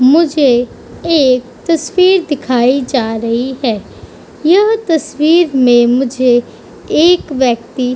तुम मुझे एक तस्वीर दिखाई जा रही है। यह तस्वीर में मुझे एक व्यक्ति --